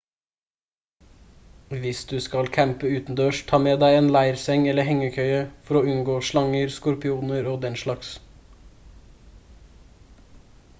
hvis du skal campe utendørs ta med deg en leirseng eller hengekøye for å unngå slanger skorpioner og den slags